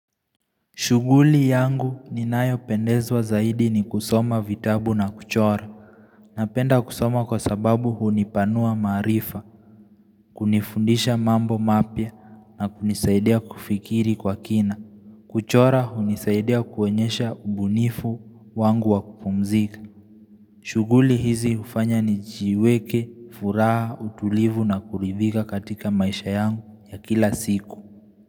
Shughuli yangu ninayo pendezwa zaidi ni kusoma vitabu na kuchora Napenda kusoma kwa sababu hunipanua maarifa hunifundisha mambo mapya na kunisaidia kufikiri kwa kina kuchora hunisaidia kuonyesha ubunifu wangu wa kupumzika shughuli hizi hufanya nijiweke, furaha, utulivu na kuridhika katika maisha yangu ya kila siku.